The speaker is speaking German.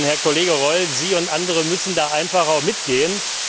Herr Kollege Reul, Sie und andere müssen dabei einfach mitgehen.